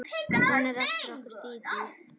Hún er eftir okkur Dídí.